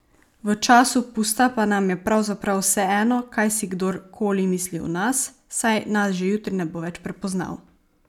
V času pusta pa nam je pravzaprav vseeno, kaj si kdor koli misli o nas, saj nas že jutri ne bo več prepoznal.